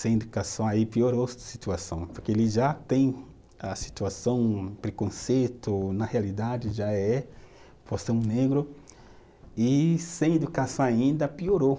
Sem educação aí piorou a situação, porque ele já tem a situação, preconceito, na realidade já é, por ser um negro, e sem educação ainda piorou.